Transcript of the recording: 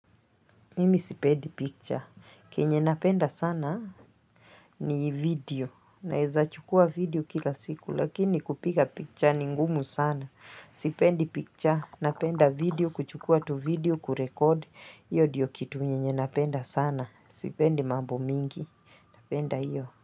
Mimi sipendi picture. Kenye napenda sana ni video. Naeza chukua video kila siku. Lakini kupika picture ni ngumu sana. Sipendi picture. Napenda video. Kuchukua tu video. Kurekode. Iyo diyo kitu nye nye napenda sana. Sipendi mambu mingi. Napenda iyo.